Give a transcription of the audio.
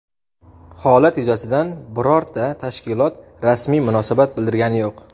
Holat yuzasidan birorta tashkilot rasmiy munosabat bildirgani yo‘q.